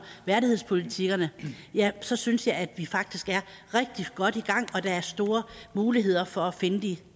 værdighedspolitikkerne ja så synes jeg at vi faktisk er rigtig godt i gang der er store muligheder for at finde de